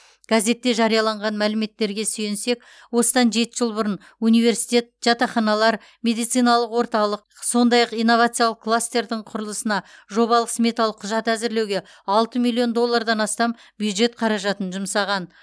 газетте жарияланған мәліметтерге сүйенсек осыдан жеті жыл бұрын университет жатақханалар медициналық орталық сондай ақ инновациялық кластердің құрылысына жобалық сметалық құжат әзірлеуге алты миллион доллардан астам бюджет қаражатын жұмсаған